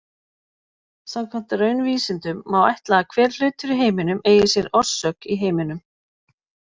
Samkvæmt raunvísindunum má ætla að hver hlutur í heiminum eigi sér orsök í heiminum.